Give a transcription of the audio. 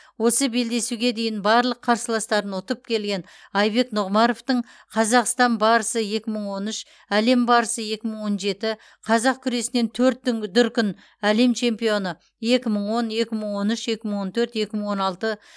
осы белдесуге дейін барлық қарсыластарын ұтып келген айбек нұғымаровтың қазақстан барысы екі мың он үш әлем барысы екі мың он жеті қазақ күресінен төрт дүн дүркін әлем чемпионы екі мың он екі мың он үш екі мың он төрт екі мың он алты